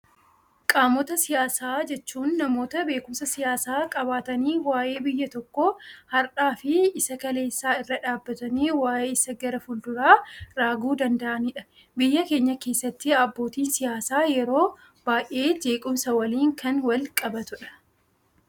Qaamota siyaasaa jechuun, namoota beekumsa siyaasaa qabaatanii waa'ee biyya tokkoo har'aa fi isa kaleessaa irra dhaabbatanii waa'ee isa gara fulduraa raaguu danda'anidha. Biyya keenya keessatti abbootiin siyaasaa yeroo baayyee jeequmsa waliin kan wal qabatudha.